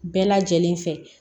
Bɛɛ lajɛlen fɛ